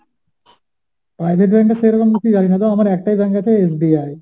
private bank টা সেরকম কিছু জানি না, তো আমার একটাই bank আছে SBI